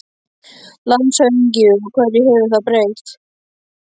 LANDSHÖFÐINGI: Og hverju hefur það breytt?